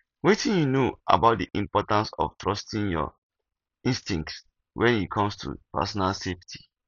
wetin you know about di importance of trusting your instincts when it comes to personal safety